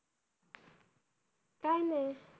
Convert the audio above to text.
काय नाही.